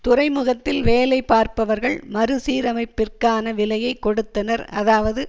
துறைமுகத்தில் வேலைபார்ப்பவர்கள் மறுசீரமைப்பிற்கான விலையை கொடுத்தனர் அதாவது